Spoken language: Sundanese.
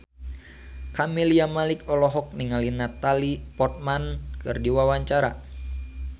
Camelia Malik olohok ningali Natalie Portman keur diwawancara